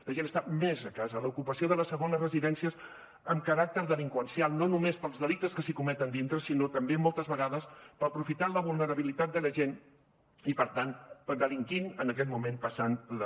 la gent està més a casa l’ocupació de les segones residències amb caràcter delinqüencial no només pels delictes que s’hi cometen dintre sinó també moltes vegades aprofitant la vulnerabilitat de la gent i per tant delinquint en aquest moment passant les